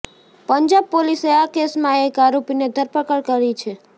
પંજાબ પોલીસે આ કેસમાં એક આરોપીને ધરપકડ કરી છે